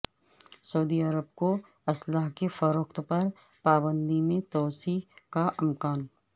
سعودی Arab کو اسلحہ کی فروخت پر پابندی میں توسیع کا امکان